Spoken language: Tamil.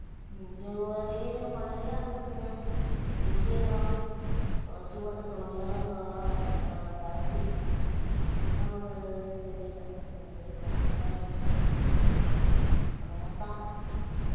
இங்க ஒரே மழையா இருக்குதுங்க, வெயிலே காணும். துவைச்சு போட்ட துணியெல்லாம் கிடக்குது, என்ன பண்ணுறதுன்னே தெரியல. ஒரே கடுப்பா இருக்குதுங்க ரோசா